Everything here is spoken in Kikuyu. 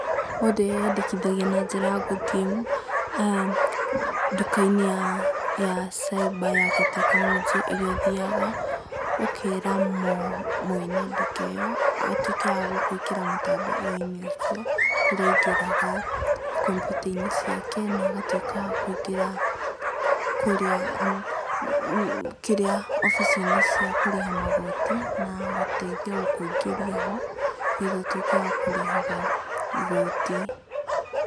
Mũndũ eyandĩkithagia na njĩra ya gũthiĩ nduka-inĩ ya cyber ya gĩtekinoronjĩ ĩrĩa ũthiaga ũkera mwene nduka-inĩ ĩyo atuĩke wa gũgũikĩra mũtandao-inĩ ũcio, kũrĩa aingĩraga kompiuta-inĩ ciake na agatuĩka wa kũingĩra, kũrĩa, kĩrĩa, obici-inĩ cia kũrĩha magooti, na gũgũteithia kũingĩria ho, nĩgetha ũtuĩke wakũrihaga igooti.